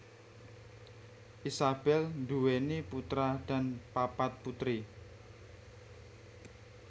Isabel nduwèni putra dan papat putri